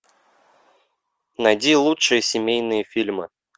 найди лучшие семейные фильмы